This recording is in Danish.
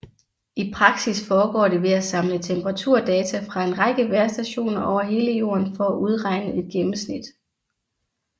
I praksis foregår det ved at samle temperaturdata fra en række vejrstationer over hele jorden for at udregne et gennemsnit